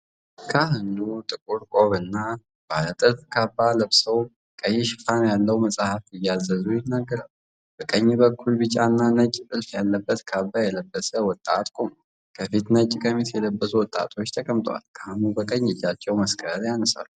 ካህን ጥቁር ቆብና ባለ ጥልፍ ካባ ለብሰው፣ ቀይ ሽፋን ያለው መጽሐፍ እየያዙ ይናገራሉ። በቀኝ በኩል ቢጫና ነጭ ጥልፍ ያለበት ካባ የለበሰ ወጣት ቆሟል። ከፊት ነጭ ቀሚስ የለበሱ ወጣቶች ተቀምጠዋል፤ ካህኑ በቀኝ እጃቸው መስቀል ያነሳሉ።